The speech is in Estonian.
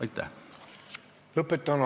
Aitäh!